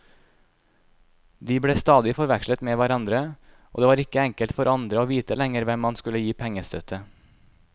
De ble stadig forvekslet med hverandre, og det var ikke enkelt for andre å vite lenger hvem man skulle gi pengestøtte.